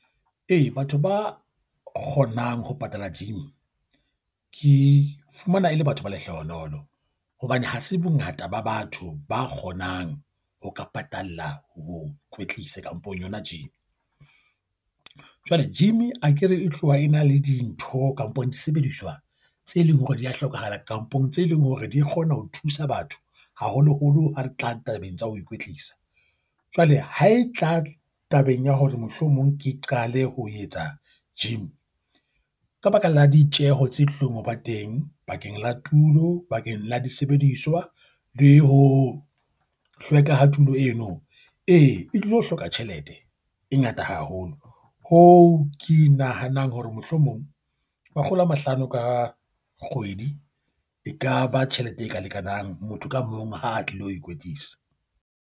Hei, batho ba kgonang ho patala gym ke fumana e le batho ba lehlohonolo. Hobane ha se bongata ba batho ba kgonang ho ka patalla ho kwetlisa kampong yona gym. Jwale gym akere e tloha e na le dintho kampong disebediswa tse leng hore di a hlokahala kampong tse leng hore di kgona ho thusa batho haholoholo ha re tla tabeng tsa ho ikwetlisa. Jwale ha e tla tabeng ya hore mohlomong ke qale ho etsa gym. Ka baka la ditjeo tse hlompho ba teng bakeng la tulo bakeng la disebediswa le ho hlweka ha tulo eno. Ee, e tlo hloka tjhelete e ngata haholo ng, hoo ke nahanang hore mohlomong makgolo a mahlano ka kgwedi ekaba tjhelete e ka lekanang motho ka mong ha a tlilo ho ikwetlisa.